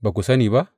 Ba ku sani ba?